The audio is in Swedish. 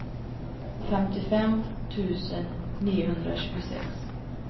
femtiofem tusen niohundratjugosex